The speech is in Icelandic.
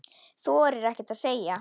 Þorir ekkert að segja.